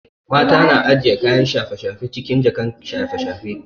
Mata na ajiye kayan shafe shafe cikin jakan shafe shafe